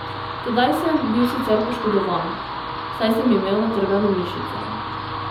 Tedaj sem bil sicer poškodovan, saj sem imel natrgano mišico.